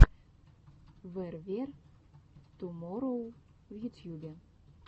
вэр вер туморроу в ютьюбе